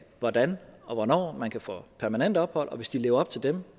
hvordan og hvornår man kan få permanent ophold og hvis de lever op til dem